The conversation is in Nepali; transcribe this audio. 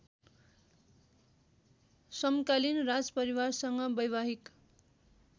समकालीन राजपरिवारसँग वैवाहिक